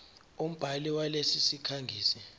umbhali walesi sikhangisi